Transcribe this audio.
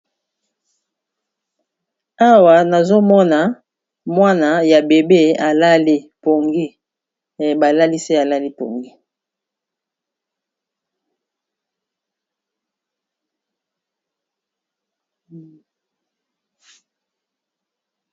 Awa nazomona mwana ya bebe alali, balalisi alali pongi.